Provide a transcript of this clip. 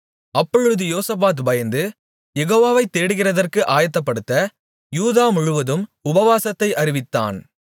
அப்பொழுது யோசபாத் பயந்து யெகோவாவை தேடுகிறதற்கு ஆயத்தப்படுத்த யூதாமுழுவதும் உபவாசத்தை அறிவித்தான்